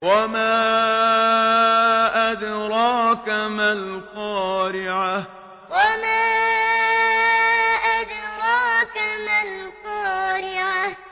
وَمَا أَدْرَاكَ مَا الْقَارِعَةُ وَمَا أَدْرَاكَ مَا الْقَارِعَةُ